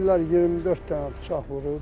Deyirlər 24 dənə bıçaq vurub.